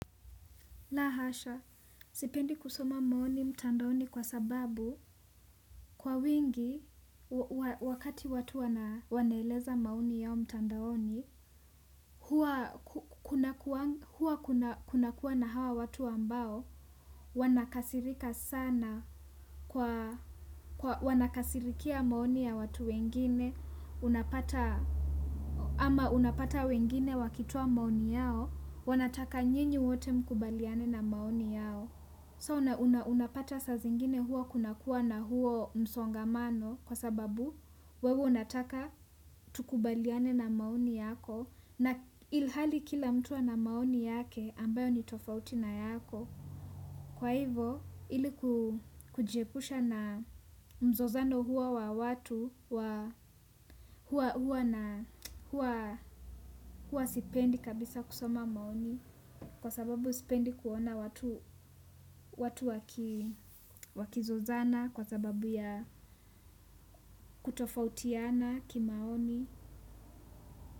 La hasha, sipendi kusoma maoni mtandaoni kwa sababu kwa wingi, wakati watu wanaeleza maoni yao mtandaoni, huwa kunakuwa na hawa watu ambao wanakasirika sana, wanakasirikia maoni ya watu wengine, au unapata wengine wakitoa maoni yao, wanataka ili nyote mkubaliane na maoni yao. So unapata saa zingine huwa kunakuwa na huo msongamano kwa sababu wewe unataka tukubaliane na maoni yako, ilhali kila mtu ana maoni yake ambayo ni tofauti na yako. Kwa hivyo ili kujiepusha na mzozano huo wa watu huwa na huwa sipendi kabisa kusoma maoni kwa sababu sipendi kuona watu wakizozana kwa sababu ya kutofautiana kimaoni.